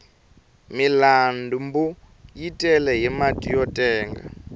milanbu yi tele hi mati yo tenga